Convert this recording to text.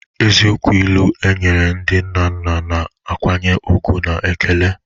Eziokwu ilu, e nyere ndị nna nna na nkwanye ùgwù na ekele.